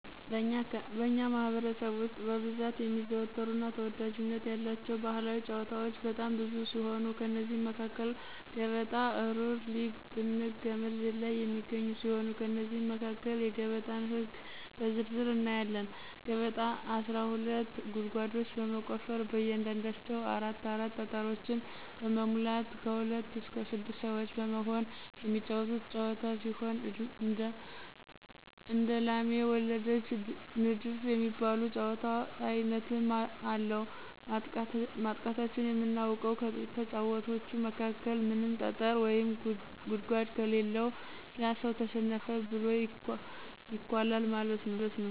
በእኛ ማህበረሰብ ውስጥ በብዛት የሚዘወተሩ እና ተወዳጅነት ያላቸው ባህላዊ ጫወታወች በጣም ብዙ ሲሆኑ ከእነዚህም መካከል ገበጣ፣ እሩር ልጊ(ጥንግ)፣ገመድ ዝላይ የሚገኙ ሲሆን ከእነዚህም መካከል የገበጣን ህግ በዝርዝር እናያለን። ገበጣ አስራ ሁለት ጉርጓዶችን በመቆፈር በእያንዳንዳቸው አራት አራት ጠጠሮችን በመሙላት ከሁለት እስከ ስድስት ሰወች በመሆን የሚጫወቱት ጫወታ ሲሆን እንደላሜ ወለደች፣ ንድፍ የሚባሉ የጫወታ አይነትም አለው፤ ማጥቃታችን የምናውቀው ከተጫዋቾቹ መካከል ምንም ጠጠር ወይም ጉርጓድ ከሌለው ያ ሰው ተሸነፈ ተብሎ ይኳላል ማለት ነው።